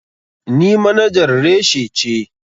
Ni manajar reshi ce.